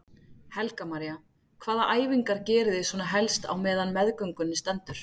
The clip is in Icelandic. Helga María: Hvaða æfingar geriði svona helst á meðan á meðgöngunni stendur?